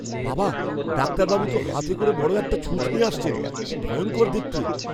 বাবা, ডাক্তারবাবু তো হাতে করে বড় একটা ছুঁচ নিয়ে আসছেন। কি ভয়ঙ্কর দেখতে।